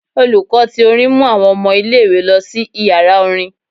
Olùkọ́ tí orín mú àwọn ọmọ ìlé-ìwé lọ si ìyara orin.